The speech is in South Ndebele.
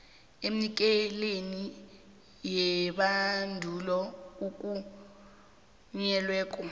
emnikelini webandulo ovunyelweko